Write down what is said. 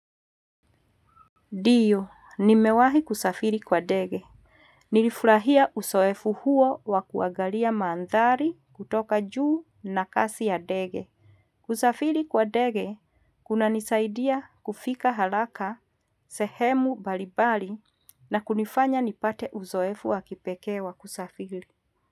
Ndiyo, nimewahi kusafiri kwa dege. Nilifurahia uzoefu huo wa kuagalia maandhari kutoka juu na kasi ya dege. Kusafiri kwa dege, kuna nisaidia kufika halaka, sehemu balibali, na kunifanya nipate uzoefu wa kipekee wa kusafiri.